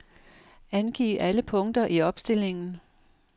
Angiv alle punkter i opstillingen.